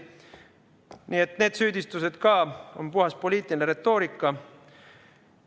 Nii et need süüdistused ka on puhas poliitiline retoorika.